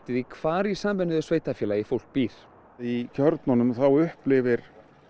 því hvar í sameinuðu sveitarfélagi fólk býr í kjörnunum þá upplifir